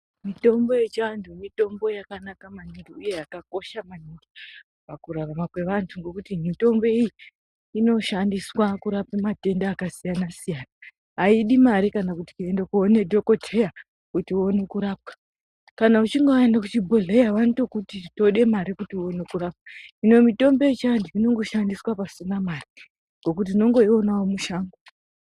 Mitombo yechiantu mitombo yakanaka maningi, uye yakakosha maningi pakurarama kwevantu, ngokuti mitombo iyi, inoshandiswa kurape matenda akasiyana-siyana. Aidi mare kana kuti kuende koone dhokodheya kuti uone kurapwa. Kana uchinge waende kuchibhodhleya vanotokuti tode mare kuti uone kurapwa. Hino mitombo yechianhu inongo shandiswa pasina mare, ngokuti tino ngoionawo mushango.